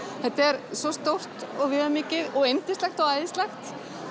þetta er svo stórt og viðamikið og yndislegt og æðislegt